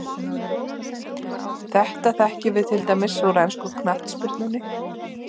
Þetta þekkjum við til dæmis úr ensku knattspyrnunni.